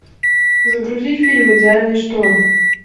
загрузи фильм идеальный шторм